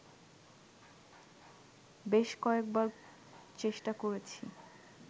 বেশ কয়েকবার চেষ্টা করেছি